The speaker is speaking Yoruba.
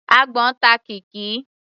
Àgbọ́n ta Kikky.